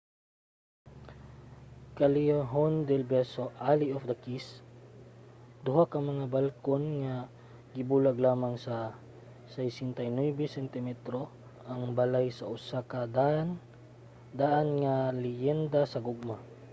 callejon del beso alley of the kiss. duha ka mga balkon nga gibulag lamang sa 69 sentimetro ang balay sa usa ka daan nga leyenda sa gugma